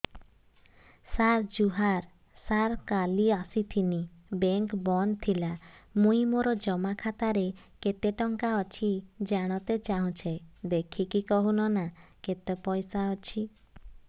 ସାର ଜୁହାର ସାର କାଲ ଆସିଥିନି ବେଙ୍କ ବନ୍ଦ ଥିଲା ମୁଇଁ ମୋର ଜମା ଖାତାରେ କେତେ ଟଙ୍କା ଅଛି ଜାଣତେ ଚାହୁଁଛେ ଦେଖିକି କହୁନ ନା କେତ ପଇସା ଅଛି